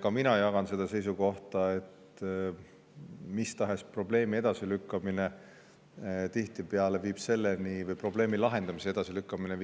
Ka mina jagan seda seisukohta, et mis tahes probleemi lahendamise edasilükkamine viib tihtipeale